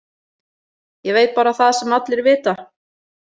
Ég veit bara það sem allir vita.